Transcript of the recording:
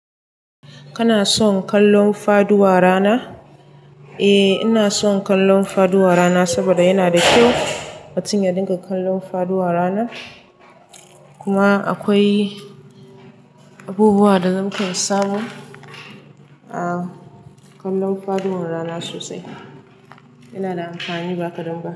Kana son kallon faduwa rana? Eh, ina son kallon faduwa rana saboda yana da kyau mutum ya dinka kallon faduwa rana. Kuma akwai abubuwa da zamu kan samu a kallon faduwar rana sosai. Yana da amfani ba kadan ba.